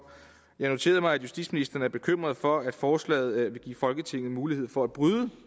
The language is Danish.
jeg noterede mig at justitsministeren er bekymret for at forslaget vil give folketinget mulighed for at bryde